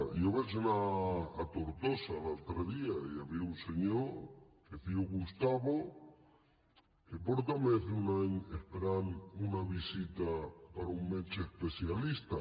jo vaig anar a tortosa l’altre dia i hi havia un senyor que es diu gustavo que fa més d’un any que espera una visita per un metge especialista